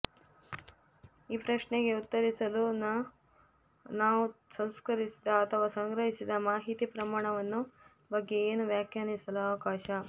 ಈ ಪ್ರಶ್ನೆಗೆ ಉತ್ತರಿಸಲು ನ ನಾವು ಸಂಸ್ಕರಿಸಿದ ಅಥವಾ ಸಂಗ್ರಹಿಸಿದ ಮಾಹಿತಿ ಪ್ರಮಾಣವನ್ನು ಬಗ್ಗೆ ಏನು ವ್ಯಾಖ್ಯಾನಿಸಲು ಅವಕಾಶ